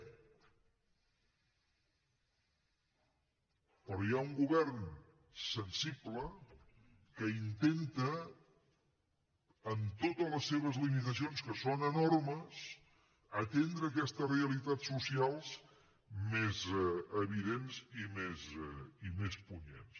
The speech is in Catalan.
però hi ha un govern sensible que intenta amb totes les seves limitacions que són enormes atendre aquestes realitats socials més evidents i més punyents